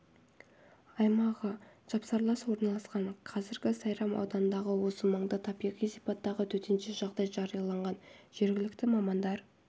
аймағы жапсарлас орналасқан қазір сайрам ауданындағы осы маңда табиғи сипаттағы төтенше жағдай жарияланған жергілікті мамандар